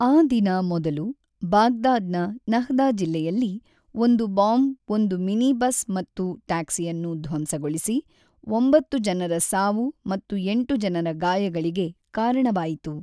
ಆ ದಿನ ಮೊದಲು , ಬಾಗ್ದಾದ್‌ನ ನಹ್ದಾ ಜಿಲ್ಲೆಯಲ್ಲಿ ಒಂದು ಬಾಂಬ್ ಒಂದು ಮಿನಿಬಸ್ ಮತ್ತು ಟ್ಯಾಕ್ಸಿಯನ್ನು ಧ್ವಂಸಗೊಳಿಸಿ, ಒಂಬತ್ತು ಜನರ ಸಾವು ಮತ್ತು ಎಂಟು ಜನರ ಗಾಯಗಳಿಗೆ ಕಾರಣವಾಯಿತು.